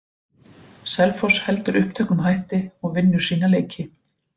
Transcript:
Selfoss heldur uppteknum hætti og vinnur sína leiki.